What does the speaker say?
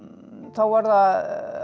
var það